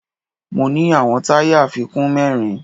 Mo ní àwọn táyà àfikún mẹ́rin